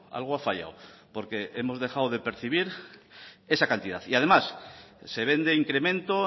algo ha fallado porque hemos dejado de percibir esa cantidad y además se vende incremento